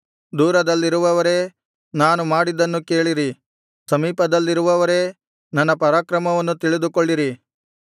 ದೂರದಲ್ಲಿರುವವರೇ ನಾನು ಮಾಡಿದ್ದನ್ನು ಕೇಳಿರಿ ಸಮೀಪದಲ್ಲಿರುವವರೇ ನನ್ನ ಪರಾಕ್ರಮವನ್ನು ತಿಳಿದುಕೊಳ್ಳಿರಿ